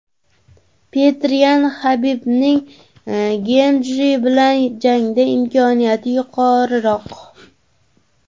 Petr Yan: Habibning Getji bilan jangda imkoniyati yuqoriroq.